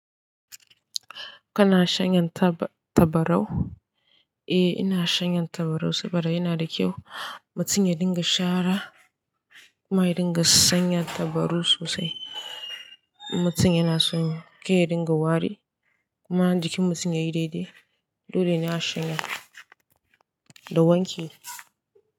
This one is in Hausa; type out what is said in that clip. Kana shanyen taba- tabarau? Eh, ina shanyen tabarau saboda yana da kyau. Matum ya dinga shara kuma ya dinga sanya tabaru sosai. Matum ya na son kar ya dinga wari kuma jikin mutum yayi dai-dai. Dole ne a shanye da wanki.